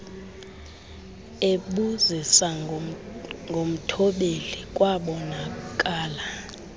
ebuzisa ngomthobeli kwabonakala